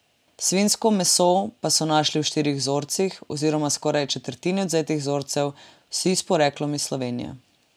Svinjsko meso pa so našli v štirih vzorcih, oziroma skoraj četrtini odvzetih vzorcev, vsi s poreklom iz Slovenije.